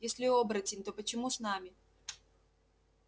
если оборотень то почему с нами